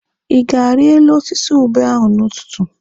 Ị ga-ari elu osisi ube ahụ n'ụtụtụ?